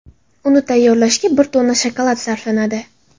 Uni tayyorlashga bir tonna shokolad sarflanadi.